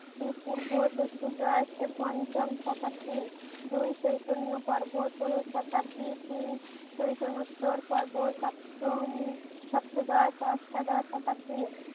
এ পূর্ব চতুর্দশ পঞ্চম শতাব্দী। দুই চৈতন্য পর্ব করে শতাব্দী তিন চৈতন্যোত্তর পর্ব সপ্তম সপ্তদশ অষ্টাদশ শতাব্দী